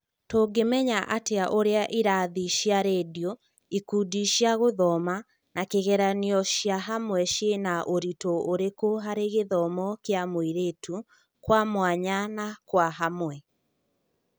Tũngĩmenya atĩa ũrĩa ĩrathi cia rendio, ikundi cia gũthoma, na kĩgeranio ciĩhamwe ciĩna ũritũ ũrĩkũ harĩ gĩthomo kĩa mũirĩtu, kwa mwanya na kwa hamwe ?